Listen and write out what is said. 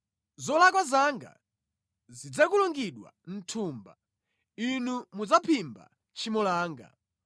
Zolakwa zanga zidzakulungidwa mʼthumba; inu mudzaphimba tchimo langa.